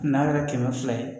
N'a kɛra kɛmɛ fila ye